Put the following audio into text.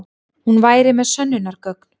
Hún væri með sönnunargögn.